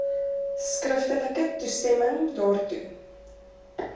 skriftelike toestemming daartoe